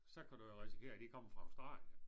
Så kan du jo risikere at de kommer fra Australien